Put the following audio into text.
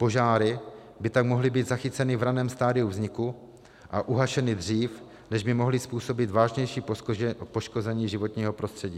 Požáry by tak mohly být zachyceny v raném stadiu vzniku a uhašeny dřív, než by mohly způsobit vážnější poškození životního prostředí.